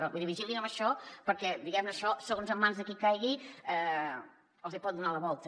vull dir vigilin amb això perquè diguem ne això segons en mans de qui caigui els hi pot donar la volta